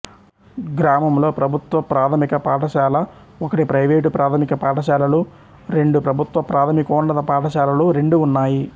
గ్రామంలో ప్రభుత్వ ప్రాథమిక పాఠశాల ఒకటి ప్రైవేటు ప్రాథమిక పాఠశాలలు రెండు ప్రభుత్వ ప్రాథమికోన్నత పాఠశాలలు రెండు ఉన్నాయి